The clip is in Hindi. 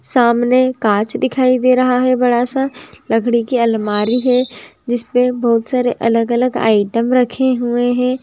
सामने कांच दिखाई दे रहा है बड़ा स लकड़ी कि अलमारी है जिसमें बहोत सारे अलग अलग आइटम रखे हुए हैं|